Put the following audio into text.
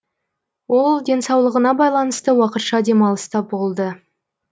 ол денсаулығына байланысты уақытша демалыста болды